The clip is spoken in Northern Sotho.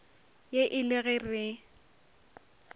ye e le ge re